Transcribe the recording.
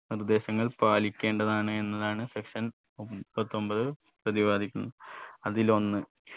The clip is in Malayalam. നിർദേശങ്ങൾ പാലിക്കേണ്ടതാണ് എന്നതാണ് section മുപ്പത്തൊമ്പത് പ്രതിപാദിക്കുന്നത് അതിലൊന്ന്